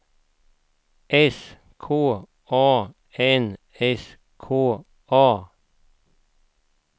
S K A N S K A